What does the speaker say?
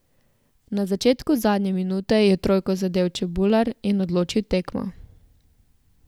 Na začetku zadnje minute je trojko zadel Čebular in odločil tekmo.